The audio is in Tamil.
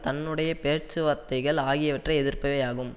தன்னுடைய பேச்சுவார்த்தைகள் ஆகியவற்றை எதிர்ப்பவையாகும்